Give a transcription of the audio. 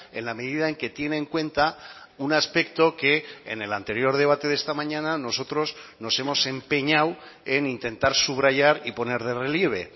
en la medida en que tiene en cuenta un aspecto que en el anterior debate de esta mañana nosotros nos hemos empeñado en intentar subrayar y poner de relieve